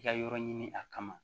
I ka yɔrɔ ɲini a kama